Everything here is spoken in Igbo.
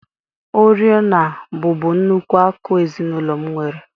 Oriọna bụbu nnukwu akụ ezinụlọ m nwere